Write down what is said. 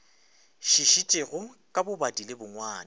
šišitšego ka bobadi le bongwadi